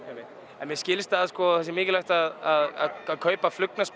mér skilst að það sé mikilvægt að kaupa